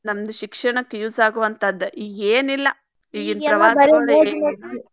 ನಮ್ದ್ ಶಿಕ್ಷಣಕ್ಕ್ use ಆಗುವಂತಾದ ಈಗೇನಿಲ್ಲಾ